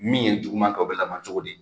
Min ye jugu man kɛ, o bɛ laban cogo di?